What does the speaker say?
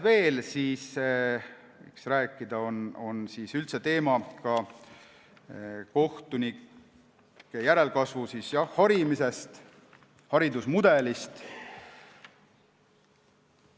Veel võiks rääkida kohtunike järelkasvu harimisest, nende haridusmudelist.